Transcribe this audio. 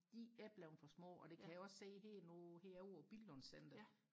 de er blevet for små og det kan jeg også se herovre i Billinds centeret